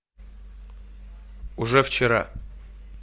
уже вчера